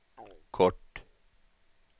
kort